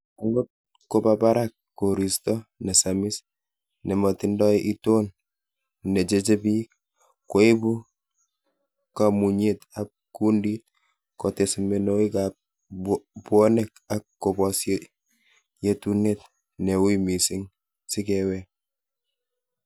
Angot koba barak koriisto nesamis nemotindoi iton necheche bik, koibu koimutyet ab kundit, kotes mionwogik ab bwonek ak kobos yetunet ne ui missing sikewek.